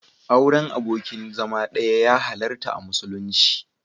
Auren abokin zama ɗaya ya halarta a musulunci.